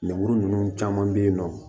Lemuru ninnu caman bɛ yen nɔ